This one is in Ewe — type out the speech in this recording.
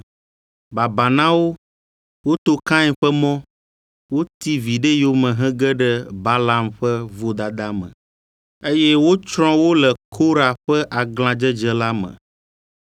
Babaa na wo! Woto Kain ƒe mɔ; woti viɖe yome hege ɖe Balaam ƒe vodada me, eye wotsrɔ̃ wo le Kora ƒe aglãdzedze la me.